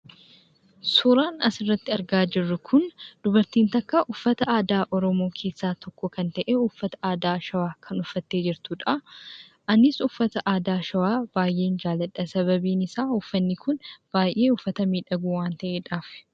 Suuraan asirratti argaa jirru kun dubartiin takka uffata aadaa Oromoo keessaa tokko kan ta'e, uffata aadaa Shawaa kan uffattee jirtudha. Anis uffata aadaa Shawaa baay'een jaaladha. Sababiin isaa, uffatni kun baay'ee uffata miidhagu waan ta'eedhaaf.